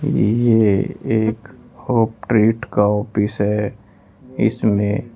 ये एक हॉप ट्रेट का ऑफिस है इसमें--